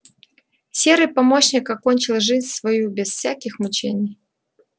серый помощник окончил жизнь свою без всяких мучений